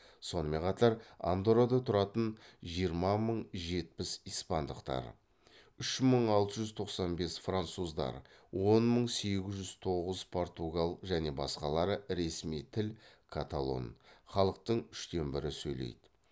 сонымен қатар андоррада тұратын жиырма мың жетпіс испандықтар үш мың алты жүз тоқсан бес француздар он мың сегіз жүз тоғыз португал және басқалары ресми тіл каталон халықтың үштен бірі сөйлейді